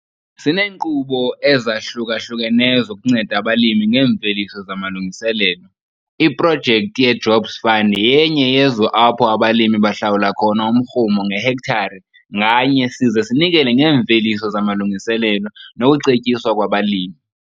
Sineenkqubo ezahluka-hlukeneyo zokunceda abalimi ngeemveliso zamalungiselelo - iProjekthi yeJobs Fund yenye yezo apho abalimi bahlalwula khona umrhumo ngehektare nganye size sinikele ngeemveliso zamalungiselelo nokucetyiswa kwabalimi.